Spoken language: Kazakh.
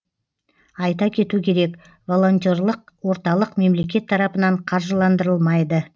айта кету керек волонтерлық орталық мемлекет тарапынан қаржыландырылмайды